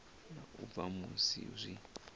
na u bva musi zwi